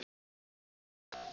Rúanda